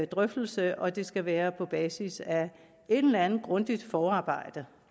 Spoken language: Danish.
drøftelse og det skal være på basis af et eller andet grundigt forarbejde